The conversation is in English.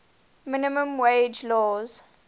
minimum wage laws